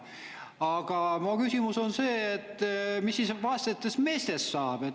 Aga mu küsimus on see, mis siis vaestest meestest saab.